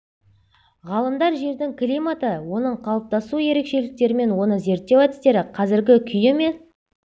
ғалымдар жердің климаты оның қалыптасу ерекшеліктерімен оны зерттеу әдістері қазіргі күйі мен